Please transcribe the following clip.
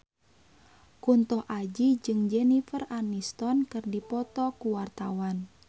Kunto Aji jeung Jennifer Aniston keur dipoto ku wartawan